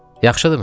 Yaxşıdırmı?